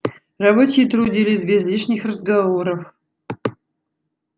рабочие трудились без лишних разговоров